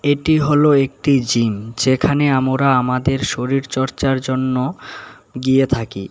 এটি হলো একটি জিম যেখানে আমোরা আমাদের শরীরচর্চার জন্য গিয়ে থাকি।